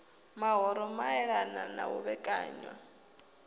mahoro maelana na u vhekanywa